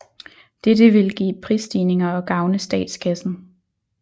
Dette ville give prisstigninger og gavne statskassen